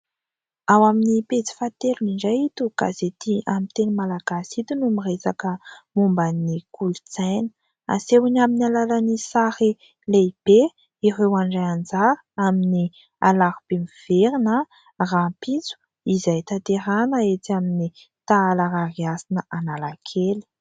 Ao amin'ny pejy fahatelo indray ito gazety amin'ny teny malagasy ito no miresaka momba ny kolontsaina. Asehony amin'ny alalan'ny sary lehibe ireo handray anjara amin'ny "Alarobia miverina" rahampitso izay tanterahina etsy amin'ny Tahala Rarihasina Analakely.